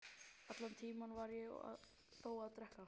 Allan tímann var ég þó að drekka.